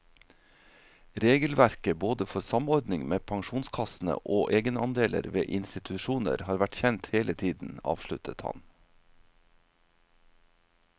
Regelverket både for samordning med pensjonskassene og egenandeler ved institusjoner har vært kjent hele tiden, avsluttet han.